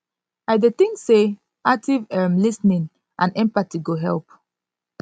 i dey think say active um lis ten ing and empathy go help